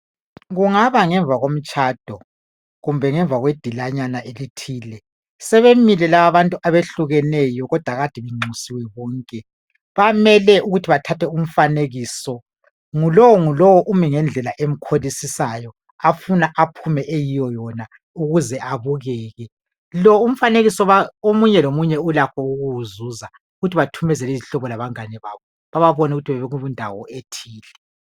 Kungaba ngemva komtshado kumbe ngemva kwedilanyana elithile. Sebemile laba abantu abehlukeneyo kodwa kade benxusiwe bonke. Bamele ukuthi bethathe umfanekiso. Ngulowo ngulowo umi ngendlela emkholisisiyo, afuna aphume eyiyo yona ukuze abukeke. Lo umfanekiso omunye lomunye ulakho ukuwuzuza ukuthi bethumezele izihlobo labangane zabo, bababone ukuthi bebekundawo ethile.